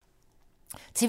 TV 2